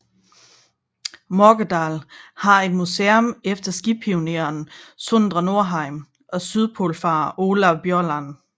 Morgedal har et museum efter skipioneren Sondre Norheim og sydpolfarer Olav Bjaaland